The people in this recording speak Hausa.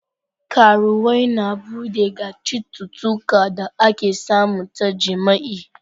Karuwwai na bude ga citutuka da ake samu ta jima'i.